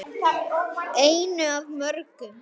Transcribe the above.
Einu af mörgum.